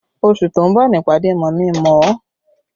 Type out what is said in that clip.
Oṣù tó ń bọ̀ ni ìpàdé mọ̀mí-n-mọ̀-ọ́